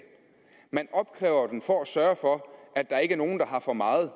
men at man opkræver den for at sørge for at der ikke er nogen der har for meget